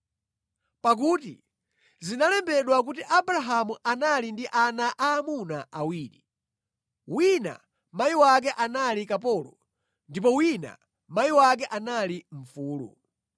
Pakuti zinalembedwa kuti Abrahamu anali ndi ana aamuna awiri, wina mayi wake anali kapolo ndipo wina mayi wake anali mfulu.